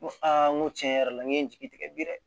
N ko aa n ko tiɲɛ yɛrɛ la n ye n jigi tigɛ bi dɛ